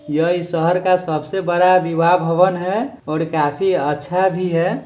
यह इस शहर का सबसे बड़ा विवाह भवन है और काफी अच्छा भी है।